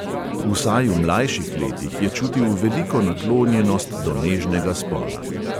Vsaj v mlajših letih je čutil veliko naklonjenost do nežnega spola.